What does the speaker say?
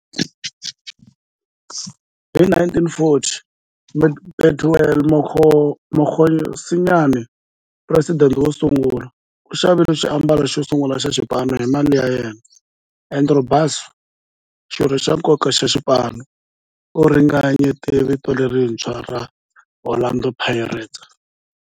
Hi 1940, Bethuel Mokgosinyane, president wosungula, u xavile xiambalo xosungula xa xipano hi mali ya yena. Andrew Bassie, xirho xa nkoka xa xipano, u ringanyete vito lerintshwa ra 'Orlando Pirates'.